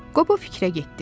Qobo fikrə getdi.